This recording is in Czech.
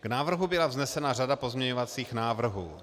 K návrhu byla vznesena řada pozměňovacích návrhů.